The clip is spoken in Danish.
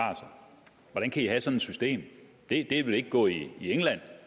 hvordan kan i have sådan et system det ville ikke gå i england